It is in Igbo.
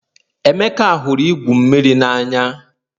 Emeka hụrụ igwu mmiri n'anya